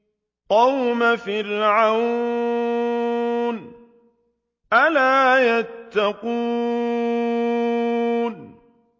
قَوْمَ فِرْعَوْنَ ۚ أَلَا يَتَّقُونَ